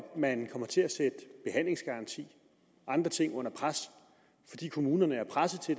man kommer til at sætte behandlingsgaranti og andre ting under pres fordi kommunerne er presset til